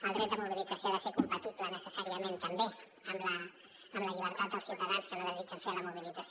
el dret de mobilització ha de ser compatible necessàriament també amb la llibertat dels ciutadans que no desitgen fer la mobilització